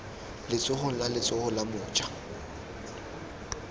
letsogong la letsogo la moja